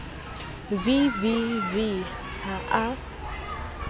v v v ha a